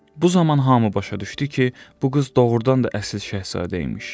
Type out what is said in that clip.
Bu zaman hamı başa düşdü ki, bu qız doğurdan da əsl şahzadəymiş.